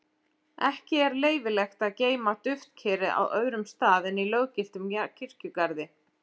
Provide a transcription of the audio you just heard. Ekki er leyfilegt að geyma duftkerið á öðrum stað en í löggiltum kirkjugarði.